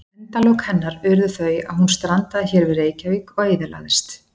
Endalok hennar urðu þau að hún strandaði hér við Reykjavík og eyðilagðist.